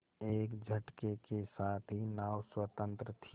एक झटके के साथ ही नाव स्वतंत्र थी